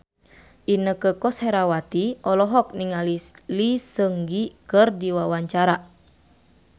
Inneke Koesherawati olohok ningali Lee Seung Gi keur diwawancara